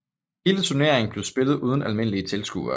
Hele turneringen blev spillet uden almindelige tilskuere